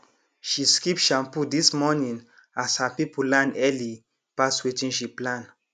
she skip shampoo this morning as her people land early pass wetin she plan